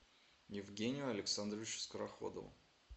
евгению александровичу скороходову